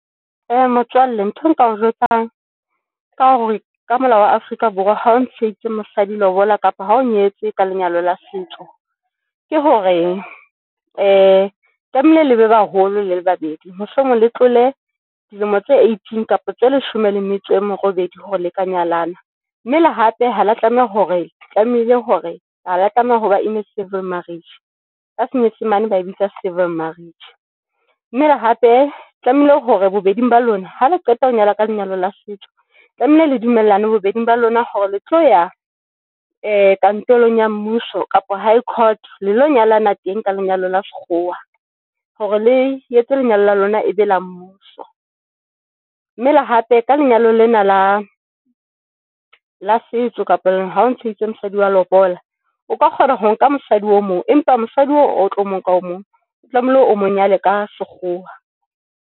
Motswalle ntho nka o jwetsang ka hore ka molao wa Afrika Borwa ha o ntsheditse mosadi lobola kapa ha o nyetse ka lenyalo la setso ke hore tlamehile le ba baholo le le babedi, mohlomong le tlole dilemo tse eighteen kapa tse leshome le metso e merobedi hore le ka nyalana mme le hape haba tlameha hore tlamehile hore haba tlameha ho ba In civil marriage ka senyesemane ba e bitsa civil marriage dumela hape tlamehile hore bobedi ba lona hale qeta ho nyalwa ka lenyalo la setso tlamehile le dumellano bobeding ba lona hore le tlo ya kantorong ya mmuso kapa High Court lelo nyalana teng ka lenyalo la sekgowa hore le etse lenyalo la lona e be la mmuso, mme le hape ka lenyalo lena la setso kapa ha o mosadi wa lobola, o ka kgona ho nka mosadi o mong, empa mosadi o tlo mong ka o mong o tlamehile o monyane ka sekgowa.